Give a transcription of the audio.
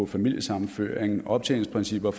familiesammenføring optjeningsprincipper